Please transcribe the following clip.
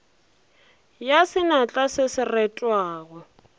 ya senatla se se retwago